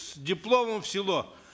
с дипломом в село